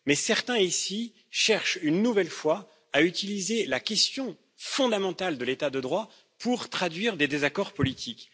Mais certains, ici, cherchent une nouvelle fois à utiliser la question fondamentale de l'état de droit pour traduire des désaccords politiques.